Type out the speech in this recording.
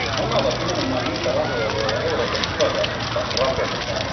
Nämä ovat nimenomaan niitä rahoja, joilla Euroopan tulevaisuutta rakennetaan.